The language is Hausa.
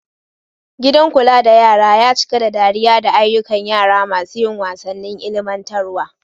Gidan kula da yara ya cika da dariya da ayyukan yara masu yin wasannin ilimantarwa.